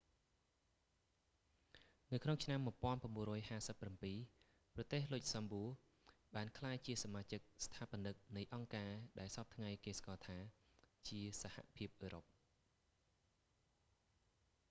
ក្នុងឆ្នាំ 1957 ប្រទេស លុចសំបួ luxembourg បានក្លាយជាសមាជិកស្ថាបនិកនៃអង្គការដែលសព្វថ្ងៃគេស្គាល់ថា ជាសហភាពអឺរ៉ុប